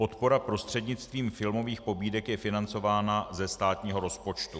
Podpora prostřednictvím filmových pobídek je financována ze státního rozpočtu.